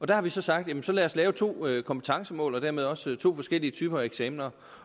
der har vi så sagt jamen så lad os lave to kompetencemål og dermed også to forskellige typer af eksamener